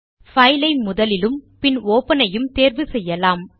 file ஐ முதலிலும் பின் ஒப்பன் ஐயும் தேர்வு செய்யலாம்